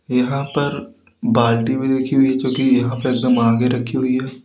यहां पर बाल्टी भी रखी हुई है जो कि यहां पे एकदम आगे रखीं हुई है।